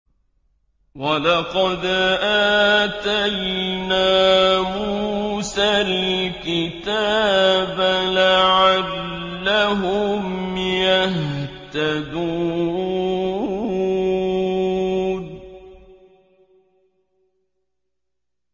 وَلَقَدْ آتَيْنَا مُوسَى الْكِتَابَ لَعَلَّهُمْ يَهْتَدُونَ